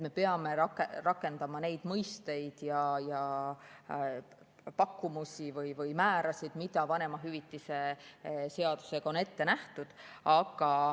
Me peame rakendama neid mõisteid ja pakkumusi või määrasid, mis vanemahüvitise seadusega on ette nähtud.